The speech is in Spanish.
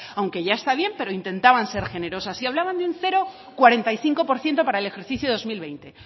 aunque ya está bien pero intentaban ser generosas y hablaban de un cero coma cuarenta y cinco por ciento para el ejercicio dos mil veinte